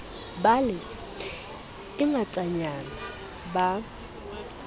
be le e ngatanyana ba